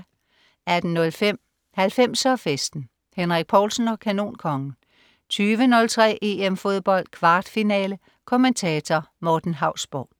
18.05 90'er Festen. Henrik Povlsen og Kanonkongen 20.03 EM Fodbold. Kvartfinale. Kommentator: Morten Hausborg